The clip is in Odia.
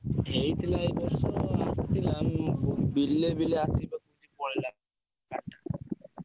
ହେଇଥିଲା ଏଇବର୍ଷ ଆସିଥିଲା ଉଁ ବିଲେ ବିଲେ ଆସିକି ପଳେଇଲା। ।